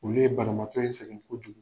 Olu ye banabaatɔ in sɛgɛn kojugu.